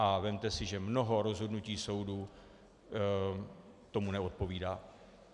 A vezměte si, že mnoho rozhodnutí soudů tomu neodpovídá.